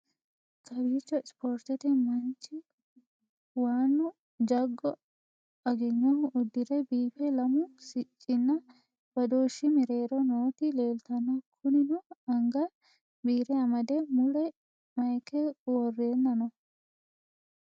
kowiicho isportete manchi waannu jaggo agenyohu uddire biife lamu siccinna badooshshi mereero nooti leeltanno kunino anga biire amade mule mayike worreenna no